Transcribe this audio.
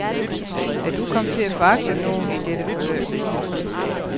Er du kommet til at foragte nogen i dette forløb?